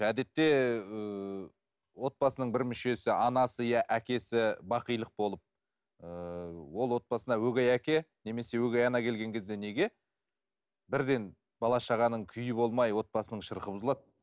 әдетте ы отбасының бір мүшесі анасы иә әкесі бақилық болып ы ол отбасына өгей әке немесе өгей ана келген кезде неге бірден бала шағаның күйі болмай отбасының шырқы бұзылады